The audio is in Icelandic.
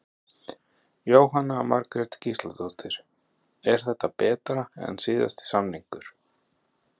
Jóhanna Margrét Gísladóttir: Er þetta betra en síðasti samningur?